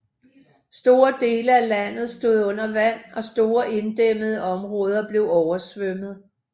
Store dele af landet stod under vand og store inddæmmede områder blev oversvømmet